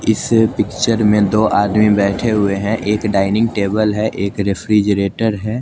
इसे पिकचर में दो आदमी बैठे हुआ है एक डाइनिंग टेबिल है एक रेफ्रिजरेटर है।